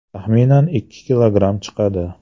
Taxminan ikki kilogramm chiqadi.